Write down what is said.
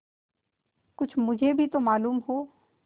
कुछ मुझे भी तो मालूम हो